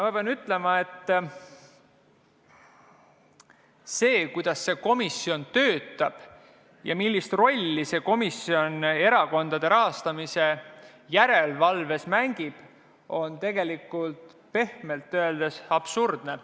Ma pean ütlema, et see, kuidas see komisjon töötab ja millist rolli see komisjon erakondade rahastamise järelevalves mängib, on tegelikult pehmelt öeldes absurdne.